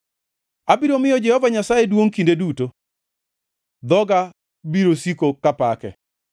Abiro miyo Jehova Nyasaye duongʼ kinde duto; dhoga biro siko kapake.